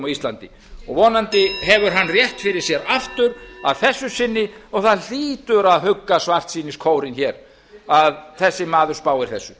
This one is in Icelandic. íslandi vonandi hefur hann rétt fyrir sér aftur að þessu sinni og það hlýtur að hugga svartsýniskórinn hér að þessi maður spáir þessu